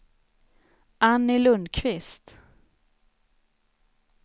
Anny Lundquist